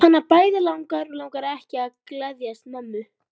Hana bæði langar og langar ekki til að geðjast mömmu.